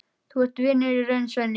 Þú ert vinur í raun, Svenni.